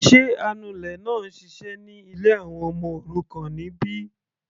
Sé anulẹ̀ náà ń ṣiṣẹ́ ní ilé àwọn ọmọ òrukàn níbí?